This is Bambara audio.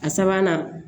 A sabanan